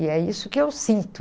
E é isso que eu sinto.